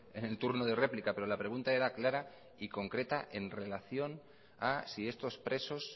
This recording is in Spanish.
en el turno de réplica pero la pregunta era clara y concreta en relación a si estos presos